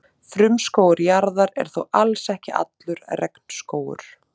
Frumskógur jarðar er þó alls ekki allur regnskógur.